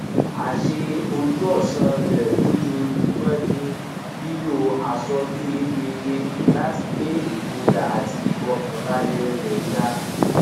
àṣe ojúọsán rẹ lójoojúmọ ni lílo àsọyé rere láti gbé igboyà àti ìfọkànbalẹ rẹ ga